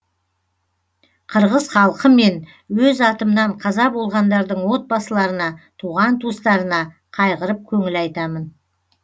қырғыз халқы мен өз атымнан қаза болғандардың отбасыларына туған туыстарына қайғырып көңіл айтамын